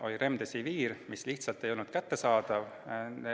Oli Remdesivir, aga see lihtsalt ei olnud kättesaadav.